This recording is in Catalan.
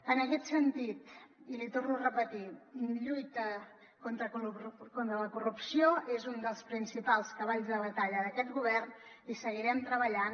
en aquest sentit i l’hi torno a repetir lluita contra la corrupció és un dels principals cavalls de batalla d’aquest govern i seguirem treballant